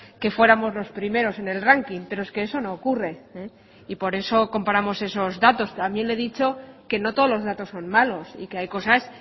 que fuéramos los primeros en el ranking pero es que eso no ocurre y por eso comparamos esos datos también le he dicho que no todos los datos son malos y que hay cosas